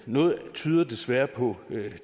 noget tyder desværre på